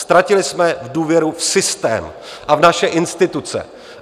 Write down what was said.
Ztratili jsme důvěru v systém a v naše instituce.